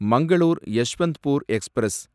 Mangalore Yeshwantpur express